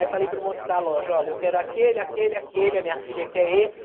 Aí falei para o moço da loja, olha, eu quero aquele, aquele, aquele, a minha filha quer esse.